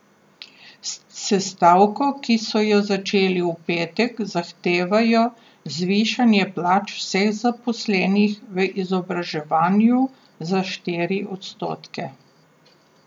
S stavko, ki so jo začeli v petek, zahtevajo zvišanje plač vseh zaposlenih v izobraževanju za štiri odstotke.